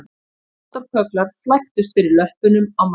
Moldarkögglar flæktust fyrir löppunum á manni